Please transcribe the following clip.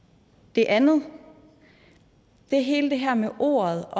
det andet er hele det her med ordet